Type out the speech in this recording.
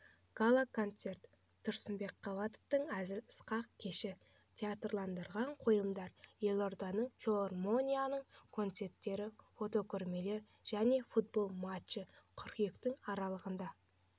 гала-концерт тұрсынбек қабатовтың әзіл-сықақ кеші театрландырылған қойылымдар елордалық филармонияның концерттері фотокөрмелер және футбол матчы қыркүйектің аралығында